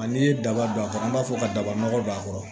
A n'i ye daba don a kɔrɔ an b'a fɔ kaba nɔgɔ don a kɔrɔ